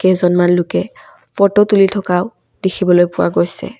কেইজনমান লোকে ফটো তুলি থকাও দেখিবলৈ পোৱা গৈছে।